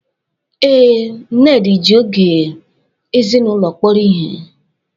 Ee, Nnedi ji oge ezinụlọ kpọrọ ihe.